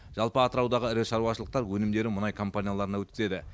жалпы атыраудағы ірі шаруашылықтар өнімдерін мұнай компанияларына өткізеді